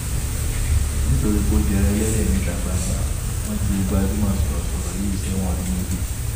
nitori po jẹran ẹlẹdẹ nita gbangba, wọn ju gbajumọ sọrọsọrọ yii sẹwọn ọdun meji